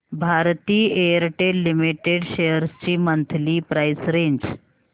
Bharti Airtel limited shares ची monthly price range